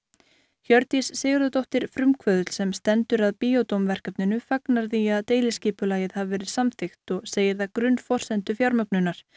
Hjördís Sigurðardóttir frumkvöðull sem stendur að verkefninu fagnar því að deiliskipulagið hafi verið samþykkt og segir það grunnforsendu fjármögnunar